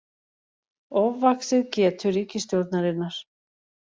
Ofvaxið getu ríkisstjórnarinnar